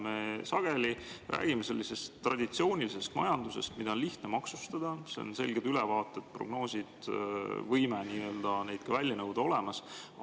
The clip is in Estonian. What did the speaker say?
Me sageli räägime sellisest traditsioonilisest majandusest, mida on lihtne maksustada: seal on selged ülevaated, prognoosid, võime neid välja nõuda on ka olemas.